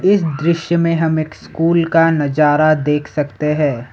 इस दृश्य में हम एक स्कूल का नजारा देख सकते हैं।